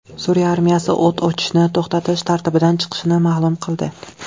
Suriya armiyasi o‘t ochishni to‘xtatish tartibidan chiqishini ma’lum qildi.